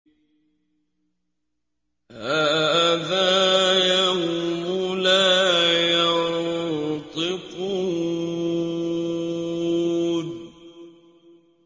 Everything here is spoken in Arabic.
هَٰذَا يَوْمُ لَا يَنطِقُونَ